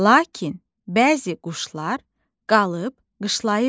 Lakin bəzi quşlar qalıb qışlayırdı.